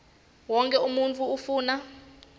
wonkhe umuntfu ufuna